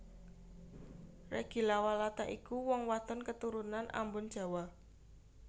Reggy Lawalata iku wong wadon keturunan Ambon Jawa